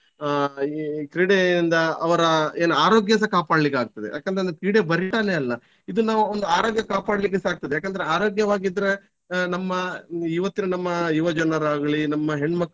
ಅಹ್ ಈ ಕ್ರೀಡೆಯಿಂದ ಅವರ ಏನ್ ಆರೋಗ್ಯ ಸ ಕಾಪಡ್ಲಿಕ್ಕಾಗ್ತದೆ ಯಾಕಂತಂದ್ರೆ ಕ್ರೀಡೆ ಅಲ್ಲ ಇದು ನಾವು ಒಂದು ಅರೋಗ್ಯ ಕಾಪಾಡ್ಲಿಕ್ಕೆ ಸ ಆಗ್ತದೆ ಯಾಕಂದ್ರೆ ಆರೋಗ್ಯವಾಗಿದ್ರೆ ಆಹ್ ನಮ್ಮ ಇವತ್ತಿನ ನಮ್ಮ ಯುವಜನರಾಗ್ಲಿ ನಮ್ಮ.